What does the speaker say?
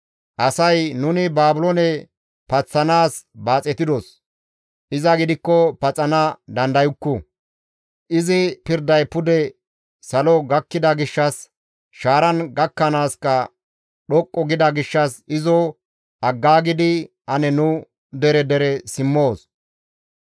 «Asay, ‹Nuni Baabiloone paththanaas baaxetidos; iza gidikko paxana dandayukku; izi pirday pude salo gakkida gishshas shaaran gakkanaaska dhoqqu gida gishshas izo aggaagidi ane nu dere dere simmoos.